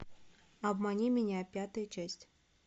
обмани меня пятая часть